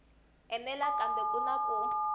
enela kambe ku na ku